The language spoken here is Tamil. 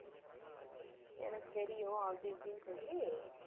எனக்கு தெரியும் அப்படி இப்படின்னு சொல்லி